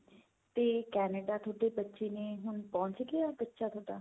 ਤੇ Canada ਥੋਡੇ ਬੱਚੇ ਨੇ ਹੁਣ ਪਹੁੰਚ ਗਿਆ ਬੱਚਾ ਥੋਡਾ